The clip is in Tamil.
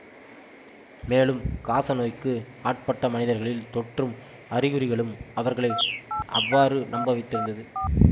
மேலும் காசநோய்க்கு ஆட்பட்ட மனிதர்களில் தோற்றும் அறிகுறிகளும் அவர்களை அவ்வாறு நம்ப வைத்திருந்தது